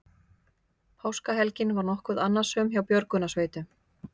Páskahelgin var nokkuð annasöm hjá björgunarsveitum